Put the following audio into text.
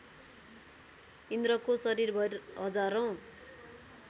इन्द्रको शरीरभर हजारौँ